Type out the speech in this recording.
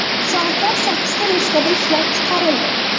Soatlar sakkizta nusxada ishlab chiqarildi.